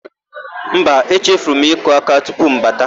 Mba, echefuru m ịkụ áká tupu m bata.